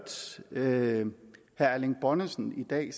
herre erling bonnesen i dag